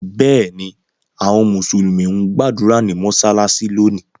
Bẹ́ẹ̀ ni, àwọn Mùsùlùmí ń gbàdúrà ní mọ́ṣáláṣí lónìí.